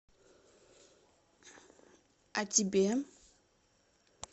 а тебе